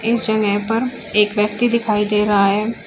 इस जगह पर एक व्यक्ति दिखाई दे रहा है।